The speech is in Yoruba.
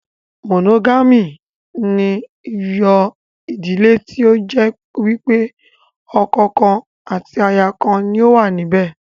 Mònógámì ni yóò ìdílé tí ó jẹ́ wípé ọkọ̀ kan àti aya kan ni ó wà níbẹ̀